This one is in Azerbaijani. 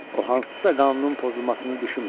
O hansısa qanunun pozulmasını düşünmədi.